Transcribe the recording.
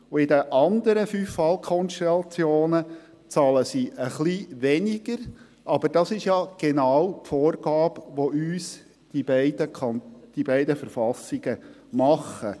Und in den anderen fünf Fallkonstellationen zahlen sie ein bisschen weniger, aber das ist ja genau die Vorgabe, die uns die beiden Verfassungen machen.